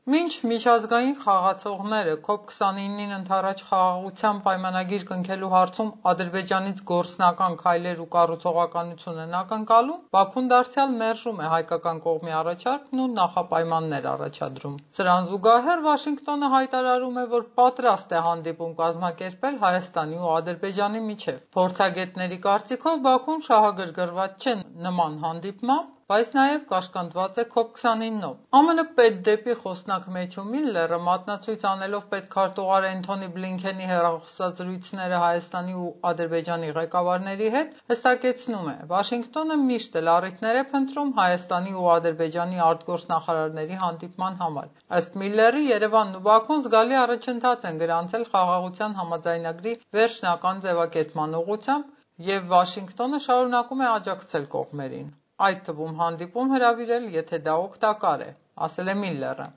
Մինչ միջազգային խաղացողները COP-29-ին ընդառաջ «Խաղաղության պայմանագիր» կնքելու հարցում Ադրբեջանից գործնական քայլեր ու կառուցողականություն են ակնկալում, Բաքուն դարձյալ մերժում է հայկական կողմի առաջարկն ու նախապայմաններ առաջադրում։ Սրան զուգահեռ Վաշինգտոնը հայտարարում է, որ պատրաստ է հանդիպում կազմակերպել Հայաստանի ու Ադրբեջանի միջև։ Փորձագետների կարծիքով՝ Բաքուն շահագրգռված չէ նման հանդիպմամբ, բայց նաև կաշկանդված է COP-29-ով։ Վաշինգտոնը կրկին պատրաստակամություն է հայտնում հանդիպում կազմակերպելու Երևանի ու Բաքվի միջև։ ԱՄՆ պետդեպի խոսնակ Մեթյու Միլլերը, մատնացույց անելով պետքարտուղար Էնթոնի Բլինքենի հեռախոսազրույցները Հայաստանի ու Ադրբեջանի ղեկավարների հետ, հստակեցնում է՝ Վաշինգտոնը միշտ էլ առիթներ է փնտրում Հայաստանի ու Ադրբեջանի արտգործնախարարների հանդիպման համար։ Ըստ Միլլերի՝ Երևանն ու Բաքուն զգալի առաջընթաց են գրանցել «Խաղաղության համաձայնագրի» վերջնական ձևակերպման ուղղությամբ, և Վաշինգտոնը շարունակում է աջակցել կողմերին։ Այդ թվում՝ հանդիպում հրավիրել, եթե դա օգտակար է՝ ասել է Միլլերը։